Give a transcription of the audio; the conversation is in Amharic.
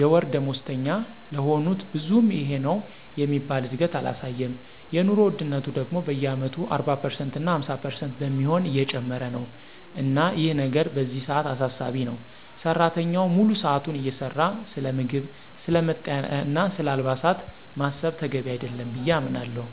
የወር ደሞዝተኛ ለሆኑት ብዙም ይሄነው የሚባል እድገት አላሳየም። የኑሮ ወድነቱ ደግሞ በየአመቱ 40% እና 50% በሚሆን እየጨመረ ነው። እና ይህ ነገር በዚህ ሰዓት አሳሳቢ ነው። ሰራተኛው ሙሉ ሰዓቱን እየሰራ ስለምግብ፣ ስለ መጠለያና ስለ አልባሳት ማሰብ ተገቢ አይደለም ብየ አምናለሁ።